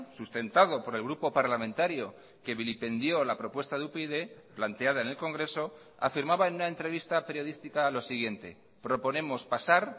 sustentado por el grupo parlamentario que vilipendió la propuesta de upyd planteada en el congreso afirmaba en una entrevista periodística lo siguiente proponemos pasar